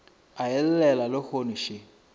a e llela lehono še